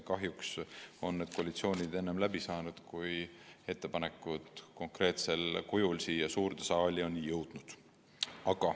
Kahjuks on need koalitsioonid enne lahku läinud, kui ettepanekud konkreetsel kujul siia suurde saali on jõudnud.